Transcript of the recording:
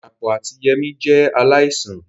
Dàpọ̀ àti Yemí jẹ́ aláìsàn